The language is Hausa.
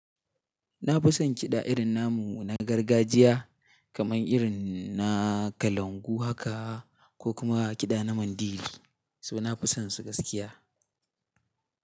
Na fi son kiɗa irin namu na gargajiya kamar irin na kalangu haka ko kuma kiɗa na Mandiri. So na fi son su gaskiya.